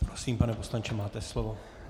Prosím, pane poslanče, máte slovo.